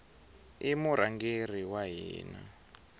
i murhangeri wa hina